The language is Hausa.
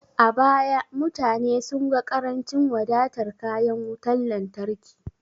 A baya, mutane sun ga ƙarancin wadatar kayan wutar lantarki.